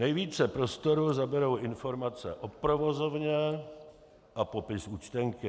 Nejvíce prostoru zaberou informace o provozovně a popis účtenky.